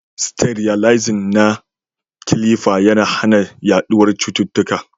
Sterilizing na kilifa yana hana yaduwar cututtuka